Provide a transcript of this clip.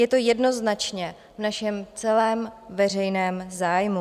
Je to jednoznačně v našem celém veřejném zájmu.